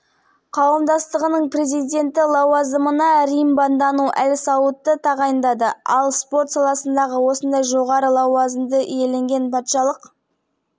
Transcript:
естеріңізге сала кетейік қыркүйектің аяғында сауд арабиясы королі салман бен абдул азиз әл-сауд корольдіктің тарихында алғаш рет әйелдерге жүргізуші куәлігін алу